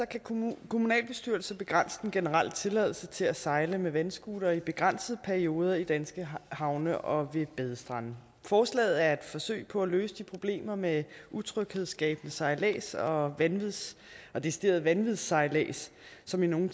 kan kommunalbestyrelser begrænse den generelle tilladelse til at sejle med vandscooter til begrænsede perioder i danske havne og ved badestrande forslaget er et forsøg på at løse de problemer med utryghedsskabende sejlads og og decideret vandvidssejlads som i nogle